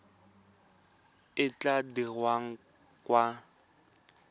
e e tla dirwang kwa